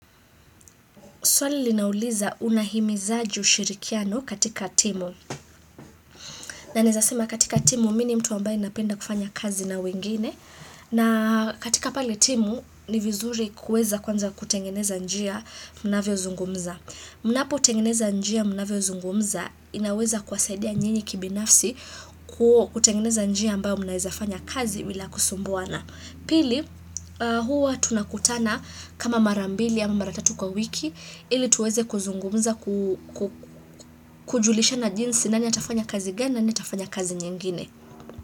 Swali linauliza unahimizaji ushirikiano katika timu. Na naezasima katika timu, mini mtu ambaye napenda kufanya kazi na wengine. Na katika pali timu, ni vizuri kuweza kwanza kutengeneza njia mnavyo zungumza. Munapo tengeneza njia mnavyo zungumza, inaweza kuwasaidia nyinyi kibinafsi kutengeneza njia ambayo munawezafanya kazi bila kusumbuana. Pili huwa tunakutana kama marambili ama mara tatu kwa wiki ili tuweze kuzungumuza kujulishana jinsi nani atafanya kazi gani nani a tafanya kazi nyingine.